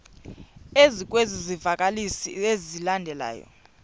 ezikwezi zivakalisi zilandelayo